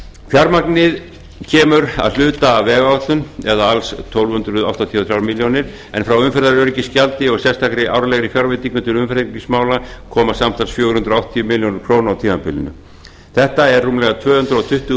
fjármagnið kemur að hluta af vegáætlun eða alls tólf hundruð áttatíu og þrjár milljónir en frá umferðaröryggisgjaldi og sérstakri árlegri fjárveitingu til umferðaröryggismála koma samtals fjögur hundruð áttatíu milljónir króna á tímabilinu þetta er rúmlega tvö hundruð tuttugu